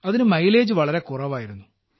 അതിന് മൈലേജ് വളരെ കുറവായിരുന്നു